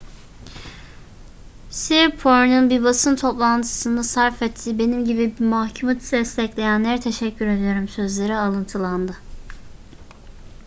siriporn'un bir basın toplantısında sarf ettiği benim gibi bir mahkumu destekleyenlere teşekkür ediyorum sözleri alıntılandı